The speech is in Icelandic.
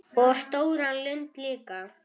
Og stóra lund líka.